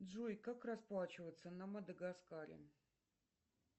джой как расплачиваться на мадагаскаре